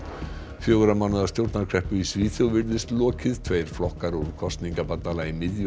fjögurra mánaða stjórnarkreppu í Svíþjóð er lokið tveir flokkar úr kosningabandalagi miðju og